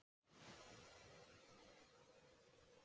Bara að rústa honum, vera grófur og vera með smá kjaft við hann